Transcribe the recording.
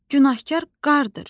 Günahkar qardır.